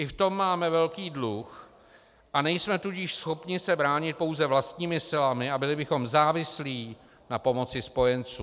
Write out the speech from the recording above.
I v tom máme velký dluh, a nejsme tudíž schopni se bránit pouze vlastními silami a byli bychom závislí na pomoci spojenců.